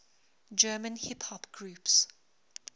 german hip hop groups